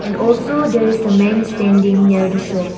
also there is a men standing near the shop.